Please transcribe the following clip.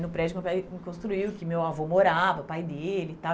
No prédio que meu pai construiu, que meu avô morava, pai dele e tal.